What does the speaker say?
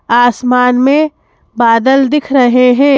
आसमान में बादल दिख रहे हैं।